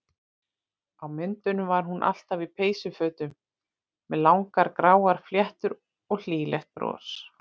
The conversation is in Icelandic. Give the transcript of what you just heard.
Á myndunum var hún alltaf í peysufötum með langar gráar fléttur og hlýlegt bros.